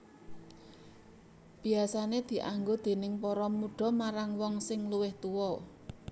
Biasané dianggo déning para mudha marang wong sing luwih tuwa